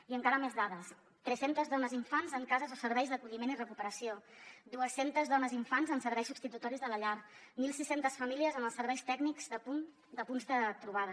i encara més dades tres centes dones i infants en cases o serveis d’acolliment i recuperació dues centes dones i infants en serveis substitutoris de la llar mil sis cents famílies en els serveis tècnics de punts de trobada